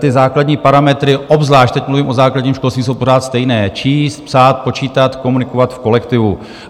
Ty základní parametry obzvlášť - teď mluvím o základním školství - jsou pořád stejné: číst, psát, počítat, komunikovat v kolektivu.